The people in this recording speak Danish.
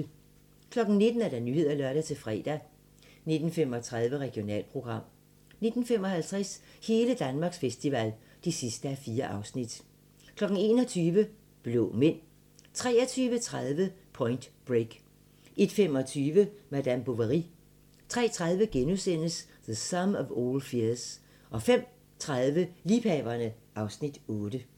19:00: Nyhederne (lør-fre) 19:35: Regionalprogram 19:55: Hele Danmarks festival (4:4) 21:00: Blå Mænd 23:30: Point Break 01:25: Madame Bovary 03:30: The Sum of All Fears * 05:30: Liebhaverne (Afs. 8)